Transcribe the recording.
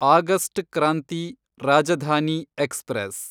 August Kranti Rajdhani express